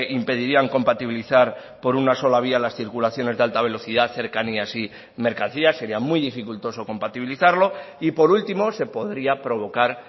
impedirían compatibilizar por una sola vía las circulaciones de alta velocidad cercanías y mercancías sería muy dificultoso compatibilizarlo y por último se podría provocar